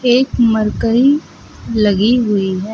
एक मरकरी लगी हुई है।